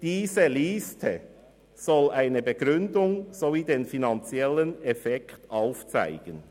Diese Liste soll eine Begründung sowie den finanziellen Effekt aufzeigen.».